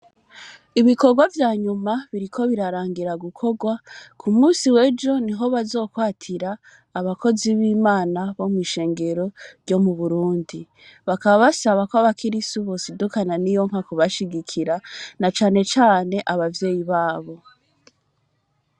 Ibikorwa vya nyuma biriko birarangira gukorwa ku musi wejo ni ho bazokwatira abakozi b'imana bo mw'ishengero ryo mu burundi bakaba basaba ko abakirisi ubosidukana ni yo nka kubashigikira na canecane abavyeyi babo.